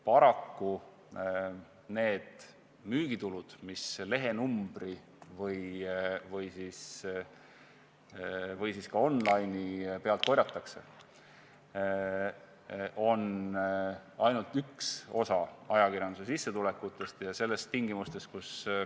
Paraku need müügitulud, mis lehenumbri või ka online'i pealt korjatakse, on ainult üks osa ajakirjanduse sissetulekutest.